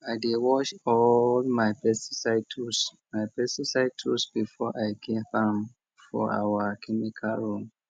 i dey wash all my pesticide tools my pesticide tools before i keep am for our chemical room